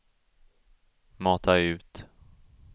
mata ut